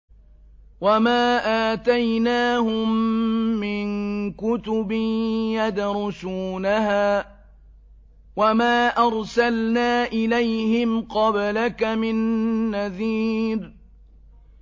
وَمَا آتَيْنَاهُم مِّن كُتُبٍ يَدْرُسُونَهَا ۖ وَمَا أَرْسَلْنَا إِلَيْهِمْ قَبْلَكَ مِن نَّذِيرٍ